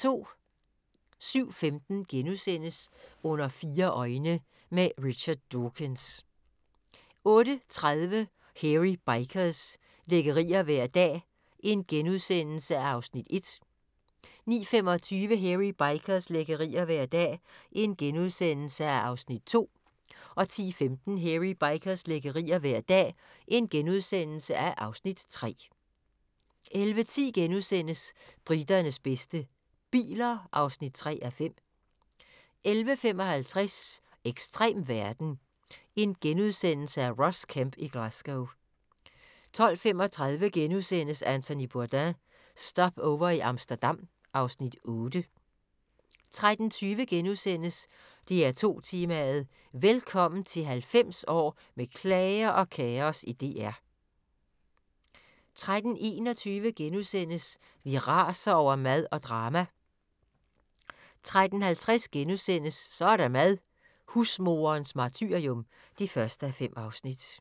07:15: Under fire øjne – Richard Dawkins * 08:30: Hairy Bikers – lækkerier hver dag (1:6)* 09:25: Hairy Bikers – lækkerier hver dag (2:6)* 10:15: Hairy Bikers – lækkerier hver dag (3:6)* 11:10: Briternes bedste - biler (3:5)* 11:55: Ekstrem verden - Ross Kemp i Glasgow * 12:35: Anthony Bourdain – Stopover i Amsterdam (Afs. 8)* 13:20: DR2 Tema: Velkommen til 90 år med klager og kaos i DR * 13:21: Vi raser over mad og drama * 13:50: Så er der mad - Husmoderens martyrium (1:5)*